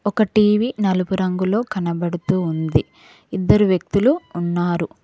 ఒక టీవీ నలుపురంగులో కనబడుతూ ఉంది ఇద్దరు వ్యక్తులు ఉన్నారు.